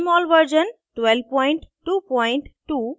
* jmol version 1222